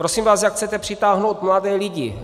Prosím vás, jak chcete přitáhnout mladé lidi?